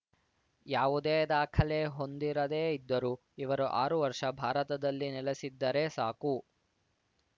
ಯಾವುದೇ ದಾಖಲೆ ಹೊಂದಿರದೇ ಇದ್ದರೂ ಇವರು ಆರು ವರ್ಷ ಭಾರತದಲ್ಲಿ ನೆಲೆಸಿದ್ದರೆ ಸಾಕು